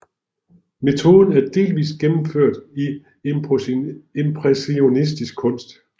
Metoden er delvis gennemført i impressionistisk kunst